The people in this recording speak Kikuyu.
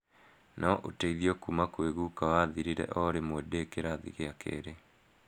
No uteithio kuma kwi guka wathirire orimwe ndi kirathi gia keeri.